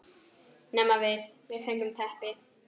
Nema við, við fengum teppi.